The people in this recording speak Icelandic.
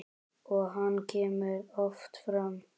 Og hann kemur oft fram.